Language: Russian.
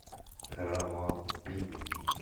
равалпинди